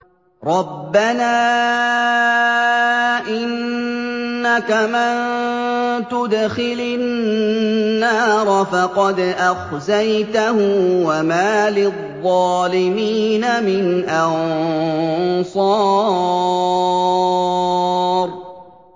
رَبَّنَا إِنَّكَ مَن تُدْخِلِ النَّارَ فَقَدْ أَخْزَيْتَهُ ۖ وَمَا لِلظَّالِمِينَ مِنْ أَنصَارٍ